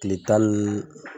Tile tan ni